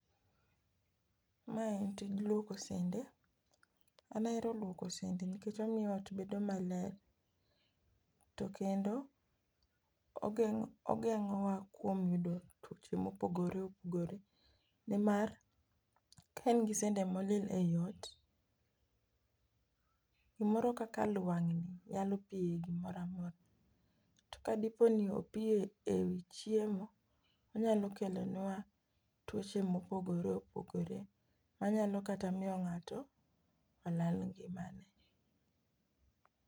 Mae en tij luoko sende. An ahero luoko sende nikech omiyo ot bedo maler, to kendo ogeng'o ogeng'owa kuom yudo tuoche mopogore opogore nimar ka in gi sande molil eot gimoro kaka lwang'ni nyalo pie gimoramora. To ka dipo ni opiye chiemo , kelonwa tuoche mopogore opogore manyalo kata miyo ng'ato olal ngimane.